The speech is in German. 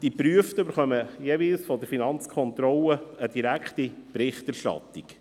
Die Geprüften erhalten von der Finanzkontrolle jeweils eine direkte Berichterstattung.